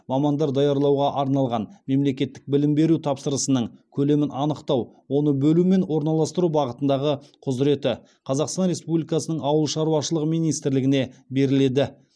мамандар даярлауға арналған мемлекеттік білім беру тапсырысының көлемін анықтау оны бөлу мен орналастыру бағытындағы құзыреті қазақстан республикасының ауыл шаруашылығы министрлігіне беріледі